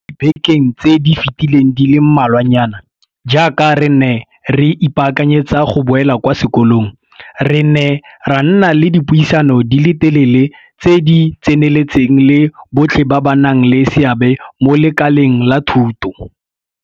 Mo dibekeng tse di fetileng di le malwanyana, jaaka re ne re ipaakanyetsa go boela kwa sekolong, re ne ra nna le dipuisano di le telele tse di tseneletseng le botlhe ba ba nang le seabe mo lekaleng la thuto.